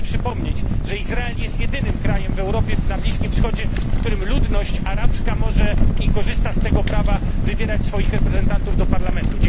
Pragnę przypomnieć, że Izrael jest jedynym krajem na Bliskim Wschodzie, w którym ludność arabska może i korzysta z tego prawa wybierać swoich reprezentantów do Parlamentu.